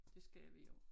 Det skal vi jo